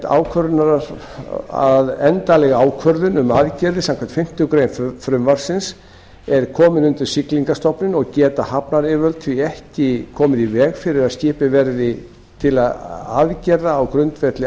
hafa í huga að endanleg ákvörðun um aðgerðir samkvæmt fimmtu grein frumvarpsins er komin undir siglingastofnun og geta hafnaryfirvöld því ekki komið í veg fyrir að gripið verði til aðgerða á grundvelli